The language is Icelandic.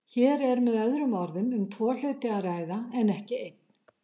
Hér er með öðrum orðum um tvo hluti að ræða, en ekki einn.